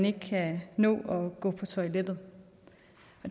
ikke kan nå at gå på toilettet